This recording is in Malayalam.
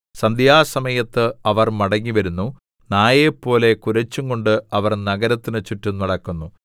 സന്ധ്യാസമയത്ത് അവർ മടങ്ങിവരുന്നു നായെപ്പോലെ കുരച്ചുകൊണ്ട് അവർ നഗരത്തിന് ചുറ്റും നടക്കുന്നു